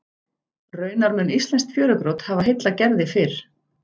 Raunar mun íslenskt fjörugrjót hafa heillað Gerði fyrr.